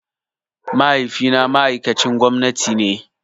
Mahaifi na ma'aikcin gwamnati ne